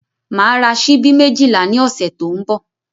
Màá ra ṣíbí méjìlá ní ọ̀sẹ̀ tó ń bọ̀